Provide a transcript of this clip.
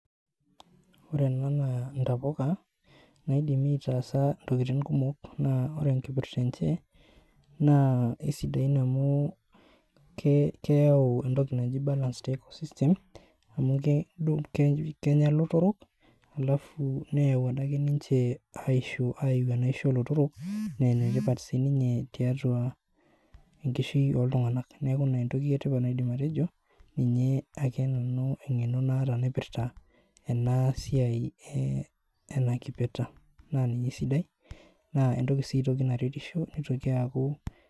Ore ena naa intapuka naidimi aitaasa intokitin kumok naa, ore ekipirta enche naa, isidain amu, keyau etoki naaji balance the eco system amu, kedung kenya ilotorok alafu neyau adaake ninche aisho aiiyiu enaisho olotorok nee enetipat sininye tiatua enkishui oltunganak. Neaku ina etoki etipat naidim atejo. Ninye ake nanu aidim atejo engeno naata naipirta ena, siai eh ena kipeta naa ninye esidai. Naa etoki sii naretisho nitoki aaku.